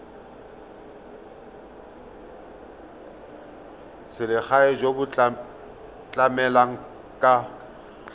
selegae jo bo tlamelang ka